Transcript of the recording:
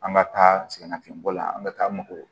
An ka taa sɛgɛnnafiɲɛbɔ la an bɛ taa mago